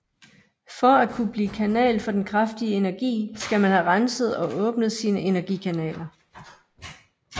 For at kunne blive kanal for den kraftige energi skal man have renset og åbnet sine energikanaler